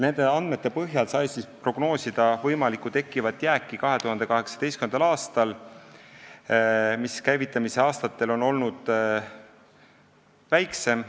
Nende andmete põhjal sai 2018. aastal prognoosida võimalikku tekkivat jääki, mis käivitamisaastatel on olnud väiksem.